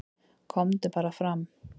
"""KOMDU BARA FRAM,"""